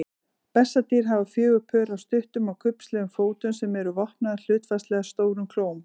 Bessadýr hafa fjögur pör af stuttum og kubbslegum fótum sem eru vopnaðir hlutfallslega stórum klóm.